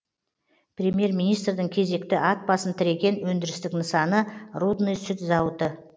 премьер министрдің кезекті ат басын тіреген өндірістік нысаны рудный сүт зауыты